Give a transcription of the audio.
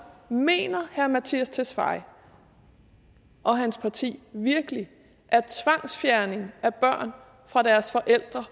mener herre mattias tesfaye og hans parti virkelig at tvangsfjernelse af børn fra deres forældre